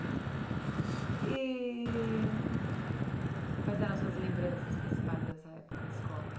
E... Quais eram suas lembranças principais dessa época de escola?